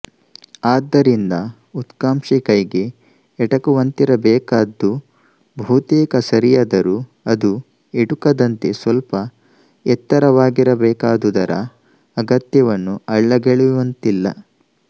ಆದ್ದರಿಂದ ಉತ್ಕಾಂಕ್ಷೆ ಕೈಗೆ ಎಟುಕುವಂತಿರಬೇಕಾದ್ದು ಬಹುತೇಕ ಸರಿಯಾದರೂ ಅದು ಎಟುಕದಂತೆ ಸ್ವಲ್ಪ ಎತ್ತರವಾಗಿರಬೇಕಾದುದರ ಅಗತ್ಯವನ್ನು ಅಲ್ಲಗಳೆಯುವಂತಿಲ್ಲ